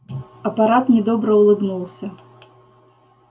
аппарат недобро улыбнулся